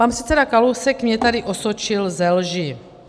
Pan předseda Kalousek mě tady osočil ze lži.